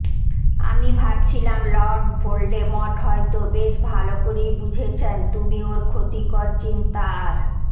আমি ভাবছিলাম Lord Voldemort হয়তো বেশ ভালো করেই বুঝেছেন তুমি ওর ক্ষতিকর চিন্তা আর